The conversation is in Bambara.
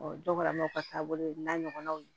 dɔ kɛra n'aw ka taabolo ye n'a ɲɔgɔnnaw ye